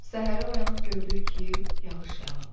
Səhərə oyanıb gördük ki, yağış yağıb.